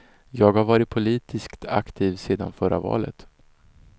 Jag har varit politiskt aktiv sedan förra valet.